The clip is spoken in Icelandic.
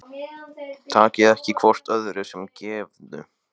Takið ekki hvort öðru sem gefnu